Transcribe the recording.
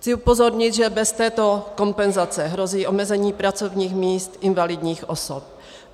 Chci upozornit, že bez této kompenzace hrozí omezení pracovních míst invalidních osob.